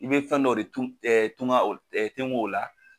I bɛ fɛn dɔ de tun tunkan o tenko o la.